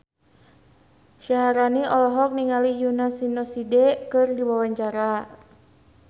Syaharani olohok ningali Yoona SNSD keur diwawancara